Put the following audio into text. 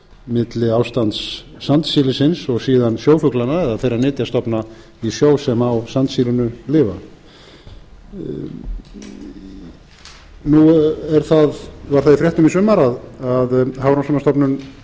milli ástands sandsílisins og síðan sjófuglanna eða þeirra nytjastofna í sjó sem á sandsílinu lifa nú er var það í fréttum í sumar að hafrannsóknastofnun gerði